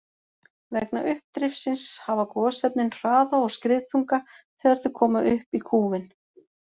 Vegna uppdrifsins hafa gosefnin hraða og skriðþunga þegar þau koma upp í kúfinn.